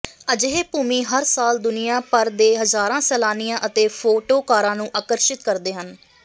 ਅਜਿਹੇ ਭੂਮੀ ਹਰ ਸਾਲ ਦੁਨੀਆ ਭਰ ਦੇ ਹਜ਼ਾਰਾਂ ਸੈਲਾਨੀਆਂ ਅਤੇ ਫੋਟੋਕਾਰਾਂ ਨੂੰ ਆਕਰਸ਼ਿਤ ਕਰਦੇ ਹਨ